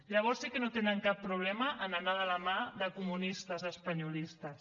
llavors sí que no tenen cap problema en anar de la mà de comunistes espanyolistes